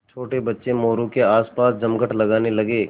छोटे बच्चे मोरू के आसपास जमघट लगाने लगे